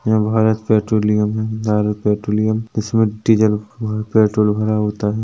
यहाँ भारत पैट्रोलियम है भारत पेट्रोलियम इसमें डीजल और पेट्रोल भरा होता है।